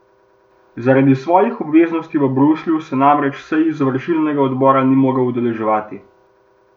Zaradi svojih obveznosti v Bruslju se namreč sej izvršilnega odbora ni mogel udeleževati.